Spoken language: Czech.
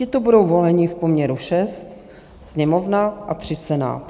Tito budou voleni v poměru 6 - Sněmovna a 3 - Senát.